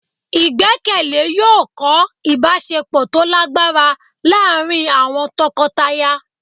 igbekele yọọ kọ ìbáṣepọ to lagbara laarín awọn tọkọtaya